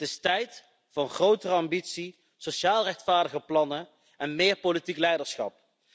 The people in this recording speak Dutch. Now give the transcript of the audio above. Het is tijd voor een grotere ambitie, sociaal rechtvaardige plannen en meer politiek leiderschap.